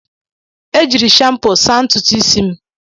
E jiiri shampo saa ntutu isi m.